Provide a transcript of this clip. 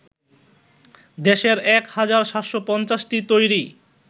দেশের ১ হাজার ৭৫০টি তৈরী